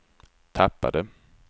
tappade